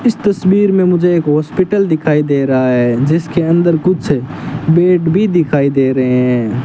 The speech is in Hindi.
इस तस्वीर में मुझे एक हॉस्पिटल दिखाई दे रहा है जिसके अंदर कुछ बेड भी दिखाई दे रहे हैं।